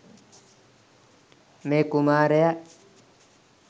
මේ කුමාරයා